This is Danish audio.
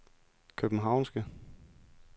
københavnske